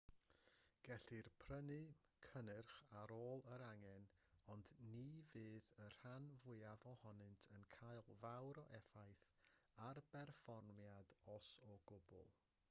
gellir prynu cynnyrch yn ôl yr angen ond ni fydd y rhan fwyaf ohonynt yn cael fawr o effaith ar berfformiad os o gwbl